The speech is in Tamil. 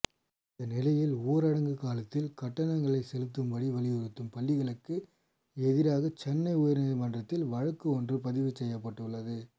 இந்த நிலையில் ஊரடங்கு காலத்தில் கட்டணங்களை செலுத்தும்படி வற்புறுத்தும் பள்ளிகளுக்கு எதிராக சென்னை உயர்நீதிமன்றத்தில் வழக்கு ஒன்று பதிவு செய்யப்பட்டுள்ளது